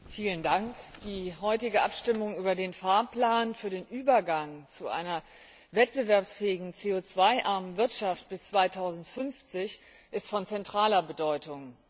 Herr Präsident! Die heutige Abstimmung über den Fahrplan für den Übergang zu einer wettbewerbsfähigen CO armen Wirtschaft bis 2050 ist von zentraler Bedeutung.